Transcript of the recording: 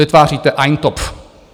Vytváříte eintopf.